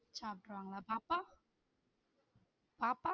சாப்ட்ருவாங்களா? பாப்பா? பாப்பா